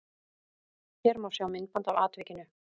Hér má sjá myndband af atvikinu